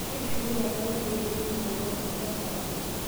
Keitushulieki enkare irkiek lekemikal ooshi ilchampai.